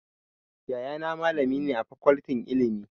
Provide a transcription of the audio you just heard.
Yayana malami ne a Fakoltin Ilimi.